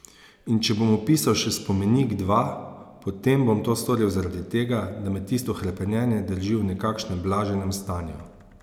In če bom opisal še spomenik, dva, potem bom to storil zaradi tega, da me tisto hrepenenje drži v nekakšnem blaženem stanju.